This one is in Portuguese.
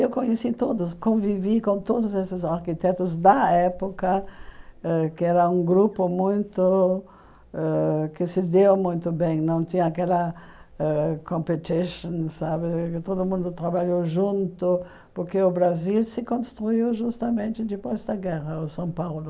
Eu conheci todos, convivi com todos esses arquitetos da época, ãh que era um grupo muito ãh que se deu muito bem, não tinha aquela ãh competition sabe, todo mundo trabalhou junto, porque o Brasil se construiu justamente depois da guerra, o São Paulo.